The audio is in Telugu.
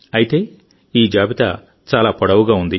అయితేఈ జాబితా చాలా పొడవుగా ఉంది